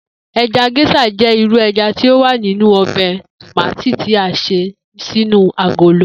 E̩ja gés̩à jé̩ irú e̩ja tí ó wà nínú o̩bè̩ tòmátì tí a s̩e sínú agolo